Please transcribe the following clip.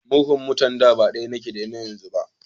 Murhun mutanen da ba daya yake da na yanzu ba.